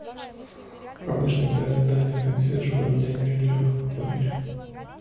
помощник дай задание консьержу поменять белье в номере